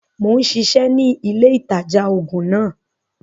Mo ń ṣiṣẹ́ ni ilé ìtajà-oògùn náà